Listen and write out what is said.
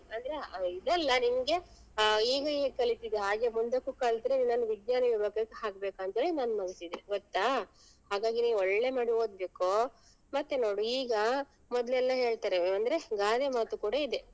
ಅಂದ್ರೆ ಆ ಇದಲ್ಲ ನಿಮ್ಗೆ ಆ ಈಗ ಹೇಗ್ ಕಲಿತಿದ್ದಿ ಹಾಗೆ ಮುಂದಕ್ಕು ಕಲ್ತ್ರೆ ನಿನ್ನನ್ನು ವಿಜ್ಞಾನ ವಿಭಾಗಕ್ಕೆ ಹಾಕ್ಬೇಕು ಅಂದ್ರೆ ನನ್ ಮನ್ಸಿಗೆ ಗೊತ್ತಾ ಹಾಗಾಗಿ ನೀನ್ ಒಳ್ಳೆ ಮಾಡಿ ಓದ್ಬೇಕು ಮತ್ತೆ ನೋಡು ಈಗ ಮೊದ್ಲೆಲ್ಲ ಹೇಳ್ತಾರೆ ಅಂದ್ರೆ ಗಾದೆ ಮಾತು ಕೂಡ ಇದೆ.